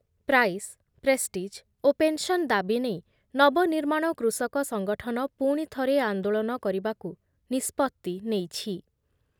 Price, prestige ଓ pension ଦାବି ନେଇ ନବନିର୍ମାଣ କୃଷକ ସଂଗଠନ ପୁଣିଥରେ ଆନ୍ଦୋଳନ କରିବାକୁ ନିଷ୍ପତ୍ତି ନେଇଛି ।